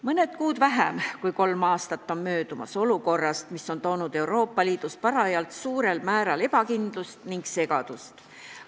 Mõni kuu vähem kui kolm aastat on möödas olukorrast, mis on toonud Euroopa Liitu suurel määral ebakindlust ning segadust.